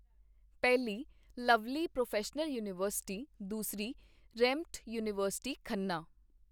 ਪਹਿਲੀ Lovely Professional University, ਦੂਸਰੀ ਰੈਂਮਟ ਯੂਨੀਵਰਸਿਟੀ ਖੰਨਾ